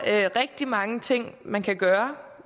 er rigtig mange ting man kan gøre